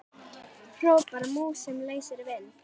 hrópar mús sem leysir vind.